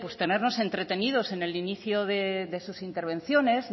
tenernos entretenidos en el inicio de sus intervenciones